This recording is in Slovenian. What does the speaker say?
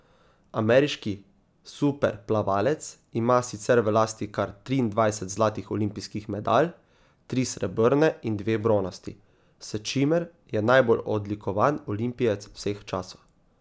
Ameriški superplavalec ima sicer v lasti kar triindvajset zlatih olimpijskih medalj, tri srebrne in dve bronasti, s čimer je najbolj odlikovan olimpijec vseh časov.